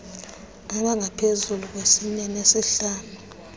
abangaphezu kwesine nesihlanu